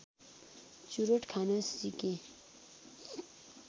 चुरोट खान सिकेँ